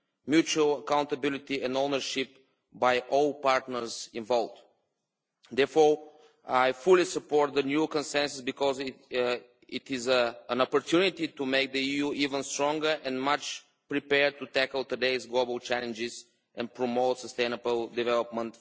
mutual accountability, and ownership by all partners involved. Therefore, I fully support the new Consensus because it is an opportunity to make the EU even stronger and more prepared to tackle today's global challenges and promote sustainable development.